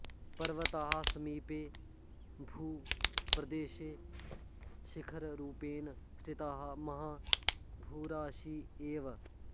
पर्वतः सीमिते भूप्रदेशे शिखररूपेण स्थितः महा भूराशिः एव